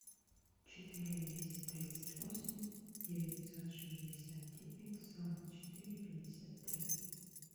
четыре двести тридцать восемь девятьсот шестьдесят девять сорок четыре пятьдесят три